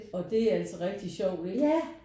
Og der er altså rigtig sjovt ikke